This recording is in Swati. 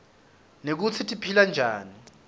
nekutsi tiphilanjani